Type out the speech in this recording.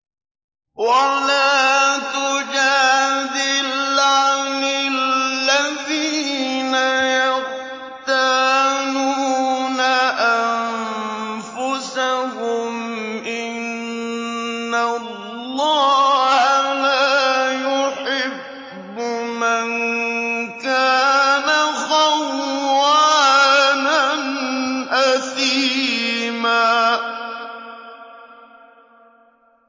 وَلَا تُجَادِلْ عَنِ الَّذِينَ يَخْتَانُونَ أَنفُسَهُمْ ۚ إِنَّ اللَّهَ لَا يُحِبُّ مَن كَانَ خَوَّانًا أَثِيمًا